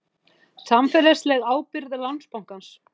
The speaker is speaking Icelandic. Samfélagsleg ábyrgð Landsbankans